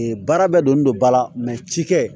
Ee baara bɛ don ne don ba la cikɛ